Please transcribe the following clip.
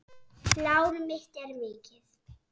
Lán mitt er mikið.